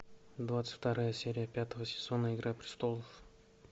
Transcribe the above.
двадцать вторая серия пятого сезона игра престолов